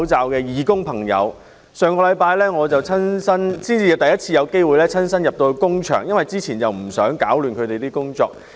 我上星期等到工場上了軌道才第一次到工場視察，因為之前不想打亂他們的工作。